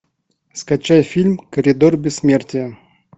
скачай фильм коридор бессмертия